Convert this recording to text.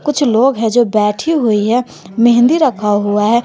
कुछ लोग हैं जो बैठी हुई है मेहंदी रखा हुआ है।